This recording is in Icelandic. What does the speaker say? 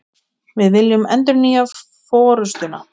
Við viljum endurnýja forustuna